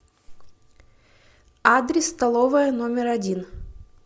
адрес столовая номер один